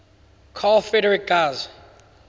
carl friedrich gauss